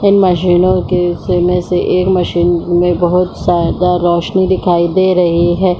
इन मशीनों के से में से एक मशीन में बोहत ज़्यादा रौशनी दिखाई दे रही है।